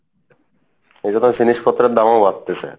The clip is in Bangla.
এইজন্য জিনিস পত্রের দামও বাড়তিছে